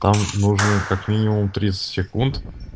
там нужно как минимум тридцать секунд